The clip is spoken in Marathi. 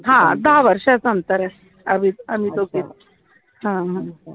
हा दहा वर्षाचं अंतर आहे आम्ही दोघीत